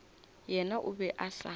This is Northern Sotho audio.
yena o be a sa